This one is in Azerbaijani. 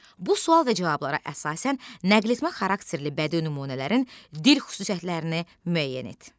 Bu sual və cavablara əsasən nəqletmə xarakterli bədii nümunələrin dil xüsusiyyətlərini müəyyən et.